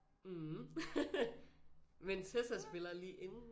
Mm men Tessa spiller lige inden